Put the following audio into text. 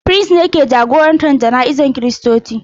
Firist ne ke jagorantar jana'izar Kiristoci.